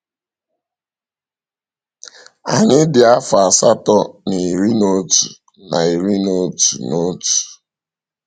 Anyị dị afọ asatọ na iri n’otu na iri n’otu n’otu.